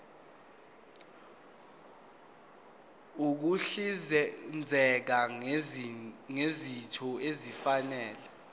ukuhlinzeka ngezinto ezifanele